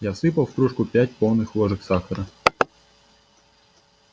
я всыпал в кружку пять полных ложек сахара